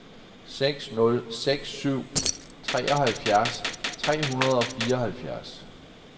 seks nul seks syv treoghalvfjerds tre hundrede og fireoghalvfjerds